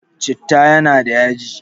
Citta yana da yaji